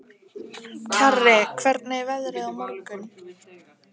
Kjarri, hvernig er veðrið á morgun?